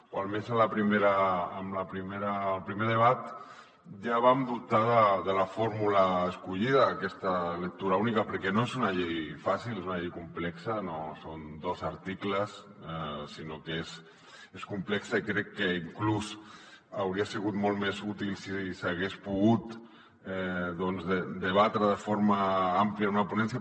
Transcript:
o almenys en el primer debat ja vam dubtar de la fórmula escollida aquesta lectura única perquè no és una llei fàcil és una llei complexa no són dos articles sinó que és complexa i crec que inclús hauria sigut molt més útil si s’hagués pogut debatre de forma àmplia en una ponència